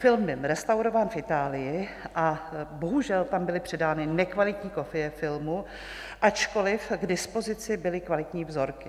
Film byl restaurován v Itálii a bohužel tam byly předány nekvalitní kopie filmu, ačkoliv k dispozici byly kvalitní vzorky.